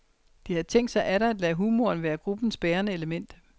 De havde tænkt sig atter at lade humoren være gruppens bærende element.